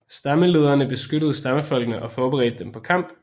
Stammelederne beskyttede stammefolkene og forberedte dem på kamp